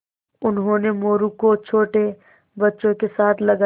उन्होंने मोरू को छोटे बच्चों के साथ लगाया